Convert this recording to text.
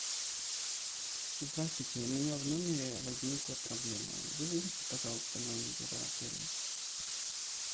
здравствуйте у меня в номере возникла проблема вызовите пожалуйста менеджера отеля